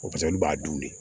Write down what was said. O olu b'a dun